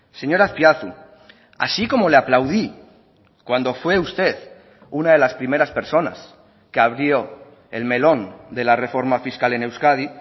señor azpiazu así como le aplaudí cuando fue usted una de las primeras personas que abrió el melón de la reforma fiscal en euskadi